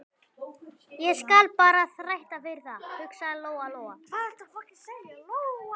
Ég skal bara þræta fyrir það, hugsaði Lóa Lóa.